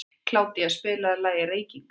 Kládía, spilaðu lagið „Reykingar“.